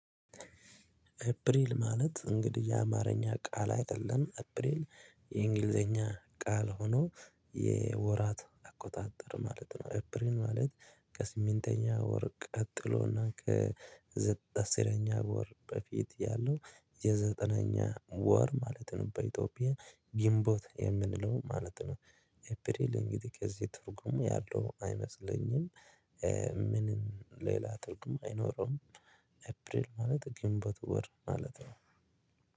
አፕሪል ማለት እንግዲህ የአማርኛ ቃል አይደለም አፕሪል የእንግሊዘኛ ቃል ሆኖ የወራት አቆጣጠር ማለት ነው። አፕሪል ማለት ከስምንተኛ ወር ቀጥሎና ከዘ አስረኛ ወር በፊት ያለው የዘጠነኛ ወር ማለት ነው። በኢትዮጵያ ጊንቦት የምንለው ማለት ነው። ኤፕሪል እንግዲህ ከዚህ ትርጉሙ ያለው አይመስለኝም። ምንም ሌላ ትርጉም አይኖረውም። አፕሪል ማለት ግንቦት ወር ማለት ነው